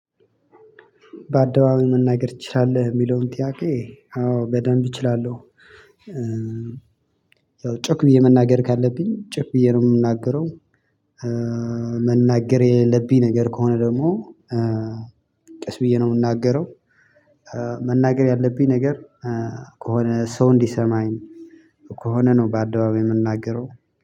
በአደባባይ መነገር ትችላለህ ወይ የሚለውን ጥያቄ አዎ በደንብ እችላለሁ። ጮክ ብዬ መናገር ካለብኝ ጮክ ብዬ ነው የምናገረው። መናገር የሌላብኝ ነገር ከሆነ ደግሞ ቀስ ብዬ ነው የምናገረው። መናገር ያለብኝ ነገር ከሆነ ሰው እንዲሰማኝ ከሆነ ነው በአደባባይ የምናገረው።